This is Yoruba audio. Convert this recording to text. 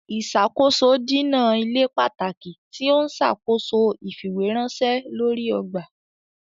Ìṣàkóso dínà ilé pàtàkì tí ọ n ṣàkóso ifiweranṣẹ lórí ọgbà.